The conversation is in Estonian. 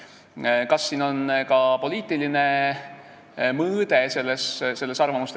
Kas selles arvamuste vahetuses on ka poliitiline mõõde?